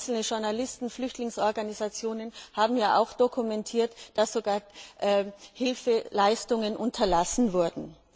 Einzelne Journalisten und Flüchtlingsorganisationen haben auch dokumentiert, dass sogar Hilfeleistungen unterlassen wurden.